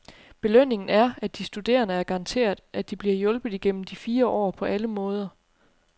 Belønningen er, at de studerende er garanteret, at de bliver hjulpet igennem de fire år på alle måder.